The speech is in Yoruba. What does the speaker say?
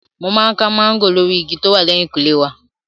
Mo máa ń ká máńgò lórí igi tí ó wà lẹ́hìnkùlé wa.